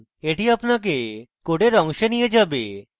এটি আপনাকে code অংশে নিয়ে যাবে